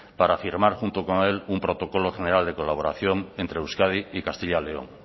para firmar junto con él un protocolo general de colaboración entre euskadi y castilla león